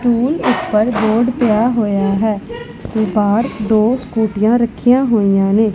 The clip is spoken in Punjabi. ਸਟੂਲ ਉਪਰ ਬੋਰਡ ਪਿਆ ਹੋਇਆ ਹੈ ਤੇ ਬਾਹਰ ਦੋ ਸਕੂਟੀਆਂ ਰੱਖੀਆਂ ਹੋਈਆਂ ਨੇਂ।